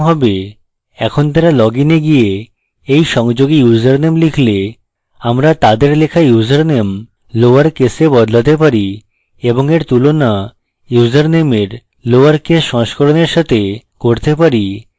এখন তারা লগইনে গিয়ে এই সংযোগে ইউসারনেম লিখলে আমরা তাদের লেখা ইউসারনেম lower case বদলাতে পারি এবং এর তুলনা ইউসারনেমের lower case সংস্করণের সাথে করতে পারি